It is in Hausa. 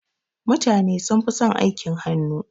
Mutane sunfi son aikin hannu.